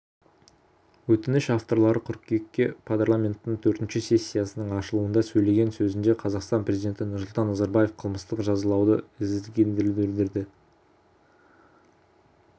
өтініш авторлары қыркүйекте парламенттің төртінші сессиясының ашылуында сөйлеген сөзінде қазақстан президенті нұрсұлтан назарбаев қылмыстық жазалауды ізгілендіруді